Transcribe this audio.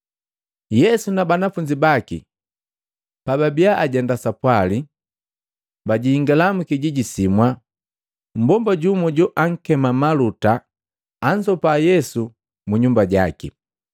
Yesu na banafunzi baki pababiya ajenda sapwali, bajingala mwikijiji simwa. Mmbomba jumu joakema Maluta anzopa Yesu mu nyumba jaki.